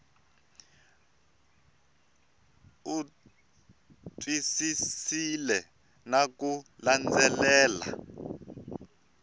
u twisisile na ku landzelela